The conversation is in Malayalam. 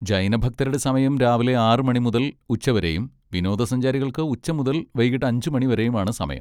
ജൈന ഭക്തരുടെ സമയം രാവിലെ ആറ് മണി മുതൽ ഉച്ചവരെയും വിനോദസഞ്ചാരികൾക്ക് ഉച്ച മുതൽ വൈകീട്ട് അഞ്ച് മണി വരെയും ആണ് സമയം.